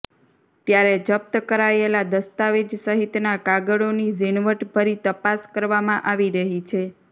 ત્યારે જપ્ત કરાયેલા દસ્તાવેજ સહિતના કાગળોની ઝીણવટ ભરી તપાસ કરવામાં આવી રહી છે